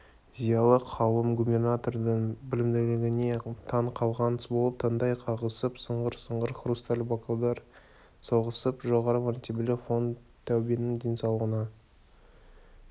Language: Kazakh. зиялы қауым губернатордың білімділігіне таң қалған болып таңдай қағысып сыңғыр-сыңғыр хрусталь бокалдар соғысып жоғары мәртебелі фон таубенің денсаулығына